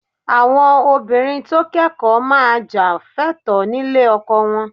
Àwọn obìnrin tó kẹ́kọ̀ọ́ máa jà fẹ́tọ̀ọ́ nílé ọkọ wọn